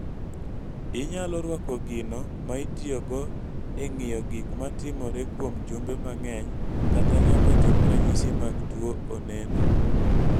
Inyalo rwako gino ma itiyogo e ng�iyo gik ma timore kuom jumbe mang�eny kata nyaka chop ranyisi mag tuo oneno.